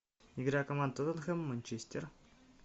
игра команд тоттенхэм манчестер